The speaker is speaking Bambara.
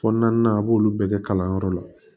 Fɔ naaninan a b'olu bɛɛ kɛ kalanyɔrɔ la